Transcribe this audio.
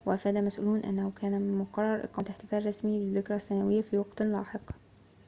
وأفاد مسؤولون أنه كان من المقرر إقامة احتفال رسمي بالذكرى السنوية في وقتٍ لاحق